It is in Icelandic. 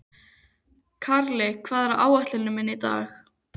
Karli, hvað er á áætluninni minni í dag?